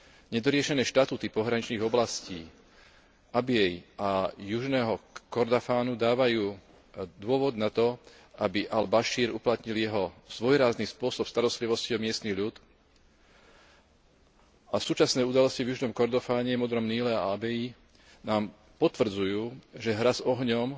Nedoriešené štatúty pohraničných oblastí Abjíi a Južného Kordofánu, dávajú dôvod na to, aby al Bašír uplatnil jeho svojrázny spôsob starostlivosti o miestny ľud a súčasné udalosti v Južnom Kordofane, Modrom Níle a Abjíi nám potvrdzujú, že hra s ohňom